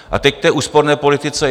A teď k té úsporné politice.